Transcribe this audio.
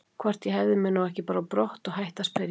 Hvort ég hefði mig nú ekki bara á brott og hætti að spyrja.